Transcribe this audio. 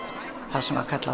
það sem var kallað